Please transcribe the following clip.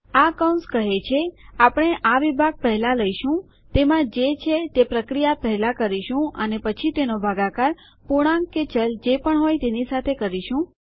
આ કૌંસ કહે છે આપણે આ વિભાગ પહેલા લઈશુંતેમાં જે છે તે પ્રક્રિયા પહેલા કરીશું અને પછી તેનો ભાગાકાર પૂર્ણાંક કે ચલ જે પણ હોય તેની સાથે કરીશું